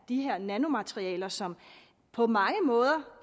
de her nanomaterialer som på mange måder